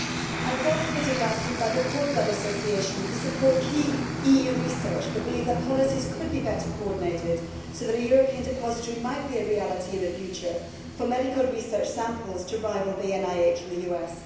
I was also visited last week by the Cord Blood Association, which supports key EU research but believes that policies could be better coordinated so that a European depositary might be a reality in the future for medical research samples to rival the NIH in the US.